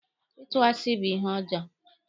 Ịtụ asi bu ihe ọjọọ.